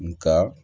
Nga